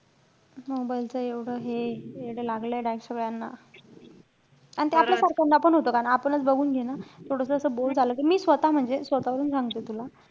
mobile च एवढं हे यडं लागलय direct सगळ्यांना. आणि ते आपल्या सारख्याना पण होतं. कारण आपणच बघून घे ना. थोडंसं असं bore झालं, कि मी स्वतः म्हणजे स्वतः वरून सांगते तुला.